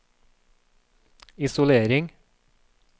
isolering